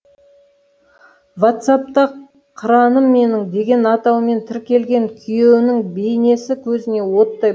вацапта қыраным менің деген атаумен тіркелген күйеуінің бейнесі көзіне оттай